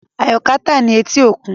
Ayoka ta ni eti okun